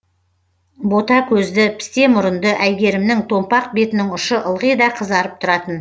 бота көзді пісте мұрынды әйгерімнің томпақ бетінің ұшы ылғи да қызарып тұратын